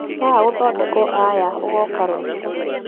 Waga gũthondekwo aya ũgoka rũciũ